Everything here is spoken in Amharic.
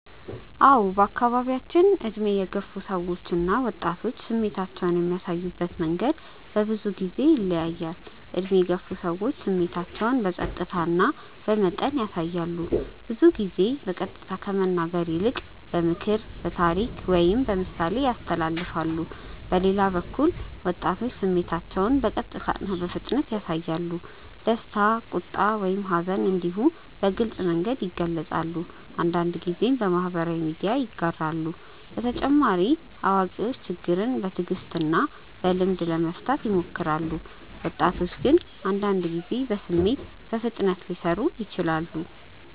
አዎ በአካባቢያችን ዕድሜ የገፉ ሰዎች እና ወጣቶች ስሜታቸውን የሚያሳዩበት መንገድ በብዙ ጊዜ ይለያያል። ዕድሜ የገፉ ሰዎች ስሜታቸውን በጸጥታ እና በመጠን ያሳያሉ። ብዙ ጊዜ በቀጥታ ከመናገር ይልቅ በምክር፣ በታሪክ ወይም በምሳሌ ያስተላልፋሉ። በሌላ በኩል ወጣቶች ስሜታቸውን በቀጥታ እና በፍጥነት ያሳያሉ። ደስታ፣ ቁጣ ወይም ሐዘን እንዲሁ በግልጽ መንገድ ይገልጻሉ፤ አንዳንድ ጊዜም በማህበራዊ ሚዲያ ያጋራሉ። በተጨማሪ አዋቂዎች ችግርን በትዕግስት እና በልምድ ለመፍታት ይሞክራሉ፣ ወጣቶች ግን አንዳንድ ጊዜ በስሜት በፍጥነት ሊሰሩ ይችላሉ።